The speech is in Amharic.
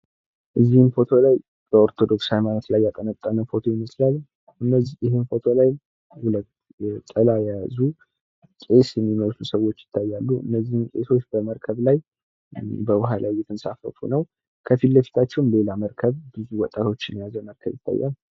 ምስሉ የሚያሳየው ውሃ ውስጥ በመርከብ የሚንሳፈፉ ጥላ የያዙ ቄሶችን ነው። ከፊት ለፊታቸው ሌላ ሰወችን የያዘ መረከብ ይታያል ።